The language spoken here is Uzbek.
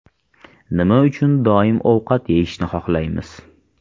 Nima uchun doim ovqat yeyishni xohlaymiz?.